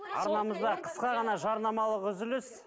арнамызда қысқа ғана жарнамалық үзіліс